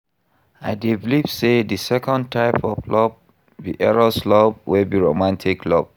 I dey believe say di second type of love be Eros love wey be romantic love.